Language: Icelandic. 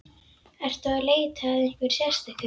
Ertu að leita að einhverju sérstöku?